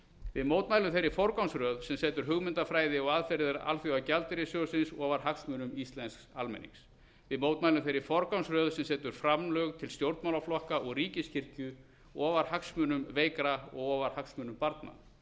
við mótmælum þeirri forgangsröð sem setur hugmyndafræði og aðferðir alþjóðagjaldeyrissjóðsins ofar hagsmunum íslensks almennings við mótmælum þeirri forgangsröð sem setur framlög til stjórnmálaflokka og ríkiskirkju ofar hagsmunum veikra og ofar hagsmunum barna